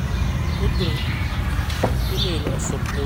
u dir iimayl cusub ciwaanka joejoe ee gmail dot com